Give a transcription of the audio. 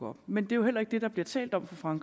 op men det er heller ikke det der bliver talt om fra